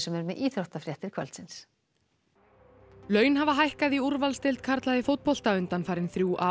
er með íþróttafréttir kvöldsins laun hafa hækkað í úrvalsdeild karla í fótbolta undanfarin þrjú ár